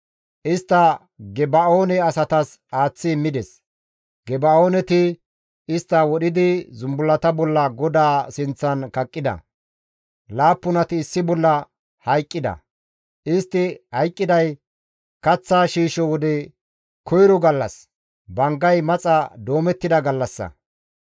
Istta Geba7oone asatas aaththi immides; Geba7ooneti istta wodhidi zumbullata bolla GODAA sinththan kaqqida; laappunati issi bolla hayqqida; istti hayqqiday kaththa shiisho wode koyro gallas, banggay maxa doomettida gallassa.